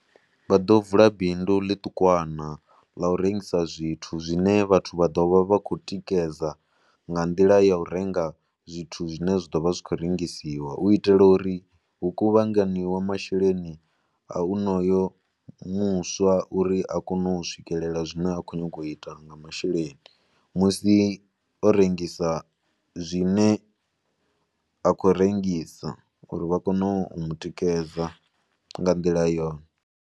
Vha ḓo vula bindu ḽiṱukwana ḽa u rengisa zwithu zwine vhathu vha ḓo vha vha khou tikedza nga nḓila ya u renga zwithu zwine zwa ḓo vha zwi khou rengisiwa. U itela uri hu kuvhanganyiwe masheleni a onoyo muswa uri a kone u swikelela zwine a khou nyanga u ita nga masheleni musi o rengisa zwine a khou rengisa uri vha kone u mu tikedza nga nḓila yone.